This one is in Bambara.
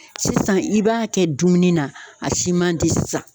Sisan i b'a kɛ dumuni na, a si man di sisan.